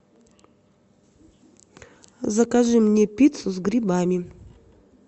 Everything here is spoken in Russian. закажи мне пиццу с грибами